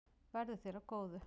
Verði þér að góðu.